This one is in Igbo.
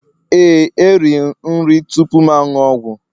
Ee, eri nri tupu m aṅụ ọgwụ